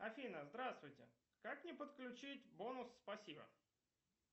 афина здравствуйте как мне подключить бонус спасибо